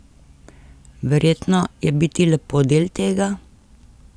Verjetno je biti lepo del tega?